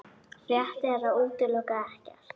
Rétt er að útiloka ekkert